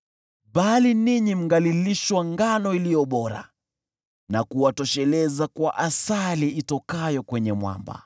Bali ninyi mngalilishwa ngano iliyo bora, na kuwatosheleza kwa asali itokayo kwenye mwamba.”